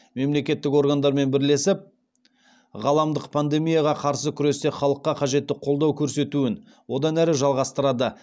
мемлекеттік органдармен бірлесіп ғаламдық пандемияға қарсы күресте халыққа қажетті қолдау көрсетуін одан әрі жалғастырады